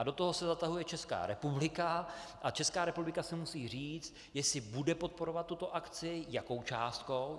A do toho se zatahuje Česká republika a Česká republika si musí říct, jestli bude podporovat tuto akci, jakou částkou.